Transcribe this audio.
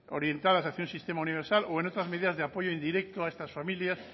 orientadas hacia un sistema universal o en otras medidas de apoyo indirecto a estas familias